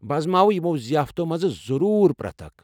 بہٕ آزماوٕ یِمَو ضِیافتو٘ مَنٛز ضروٗر پرٮ۪تھ اکھ ۔